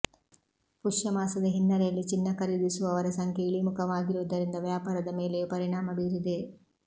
ಪುಷ್ಯ ಮಾಸದ ಹಿನ್ನೆಲೆಯಲ್ಲಿ ಚಿನ್ನ ಖರೀದಿಸುವವರ ಸಂಖ್ಯೆ ಇಳಿಮುಖ ವಾಗಿರುವುದರಿಂದ ವ್ಯಾಪಾರದ ಮೇಲೆಯೂ ಪರಿಣಾಮ ಬೀರಿದೆ